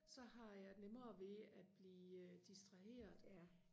så har jeg nemmere ved at blive distraheret